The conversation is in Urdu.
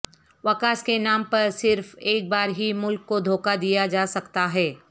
وکاس کے نام پر صرف ایک بار ہی ملک کو دھوکہ دیا جاسکتا ہے